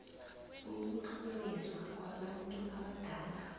ukutlhoriswa kwabantu abadala